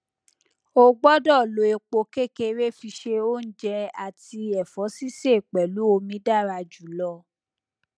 o gbọ́dọ̀ lo epo kékeré fi se oúnjẹ àti ẹ̀fọ́ sísè pẹ̀lú omi dára jùlọ.